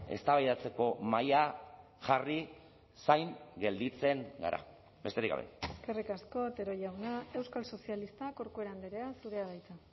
eztabaidatzeko mahaia jarri zain gelditzen gara besterik gabe eskerrik asko otero jauna euskal sozialistak corcuera andrea zurea da hitza